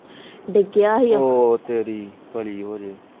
ਡਿਗਿਆ ਸੀ ਓ ਤੇ